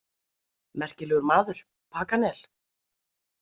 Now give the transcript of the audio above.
Merkilegur maður, Paganel.